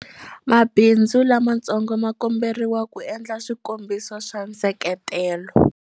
Mabindzu lamatsongo ma komberiwa ku endla swikombelo swa nseketelo.